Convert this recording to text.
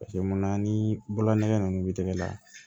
mun na ni bolongɛ nunnu bi tigɛ la